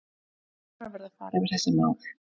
Dómarar verða að fara yfir þessi mál.